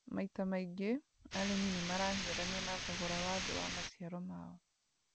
Maita maingĩ, arĩmi nĩ marahiũrania na thogora wa thĩ wa maciaro mao